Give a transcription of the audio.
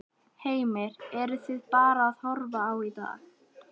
Heimir: Eruð þið bara að horfa á í dag?